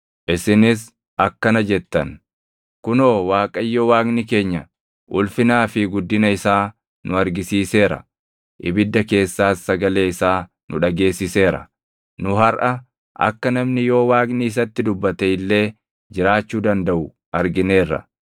Isinis akkana jettan; “Kunoo Waaqayyo Waaqni keenya ulfinaa fi guddina isaa nu argisiiseera; ibidda keessaas sagalee isaa nu dhageessiseera. Nu harʼa akka namni yoo Waaqni isatti dubbate illee jiraachuu dandaʼu argineerra.